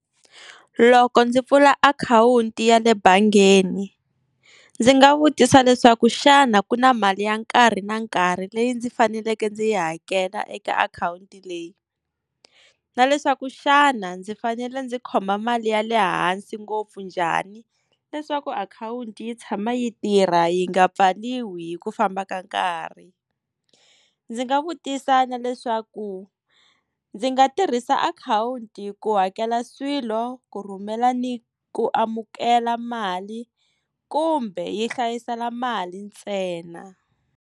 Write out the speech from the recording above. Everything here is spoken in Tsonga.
Loko ndzi pfula akhawunti ya le bangeni ndzi nga vutisa leswaku xana ku na mali ya nkarhi na nkarhi leyi ndzi faneleke ndzi yi hakela eka akhawunti leyi na leswaku xana ndzi fanele ndzi khoma mali ya le hansi ngopfu njhani leswaku akhawunti yi tshama yi tirha yi nga pfaliwi hi ku famba ka nkarhi ndzi nga vutisa na leswaku ndzi nga tirhisa akhawunti ku hakela swilo ku rhumela ni ku amukela mali kumbe yi hlayisela mali ntsena.